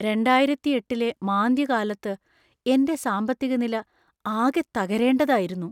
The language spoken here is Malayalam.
രണ്ടായിരത്തിയെട്ടിലെ മാന്ദ്യകാലത്ത് എന്‍റെ സാമ്പത്തികനില ആകെ തകരേണ്ടതായിരുന്നു.